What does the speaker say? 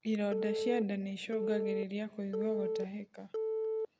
ironda cia ndaa niicungagirirĩa kuigua gutahika